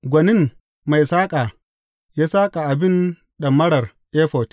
Gwanin mai saƙa ya saƙa abin ɗamarar efod.